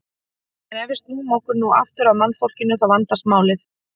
En ef við snúum okkur nú aftur að mannfólkinu þá vandast málið.